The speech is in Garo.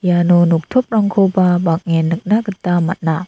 iano noktoprangkoba bang·en nikna gita man·a.